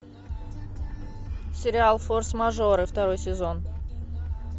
сериал форс мажоры второй сезон